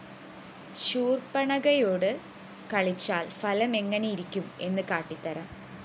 ശൂര്‍പ്പണഖയോടു കളിച്ചാല്‍ ഫലമെങ്ങനെയിരിക്കും എന്നു കാട്ടിത്തരാം